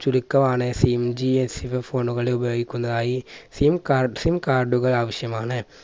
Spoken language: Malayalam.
ചുരുക്കമാണ് SIM Phone കൾ ഉപയോഗിക്കുന്നതായി SIMcardSIMcard കൾ ആവശ്യമാണ്